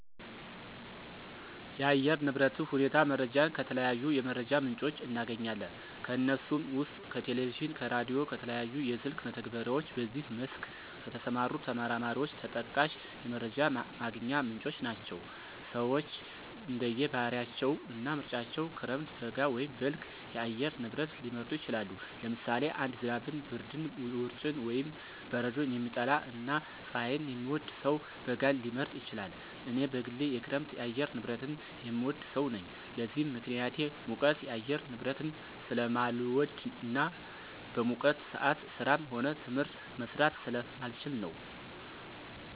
የአየር ንብረት ሁኔታ መረጃን ከተለያዩ የመረጃ ምንጮች እናገኛለን። ከነሱም ውስጥ ከቴሌቪዥን፣ ከራዲዮ፣ ከተለያዩ የስልክ መተግበሪያዎች በዚህ መስክ ከተሰማሩ ተመራማሪዎች ተጠቃሽ የመረጃ ማግኛ ምንጮች ናቸው። ሰወች እንደየ ባህሪያቸው እና ምርጫቸው ክረምት፣ በጋ ወይም በልግ የአየር ንብረት ሊመርጡ ይችላሉ። ለምሳሌ አንድ ዝናብን፣ ብርድን፣ ውርጭን ወይም በረዶን የሚጠላ እና ፀሀይን የሚወድ ሰው በጋን ሊመርጥ ይችላል። እኔ በግሌ የክረምት የአየር ንብረትን የምወድ ሰው ነኝ። ለዚህም ምክንያቴ ሙቀት የአየር ንብረትን ስለማልወድ እና በሙቀት ሰአት ስራም ሆነ ትምህርት መስራት ስለማልችል ነው።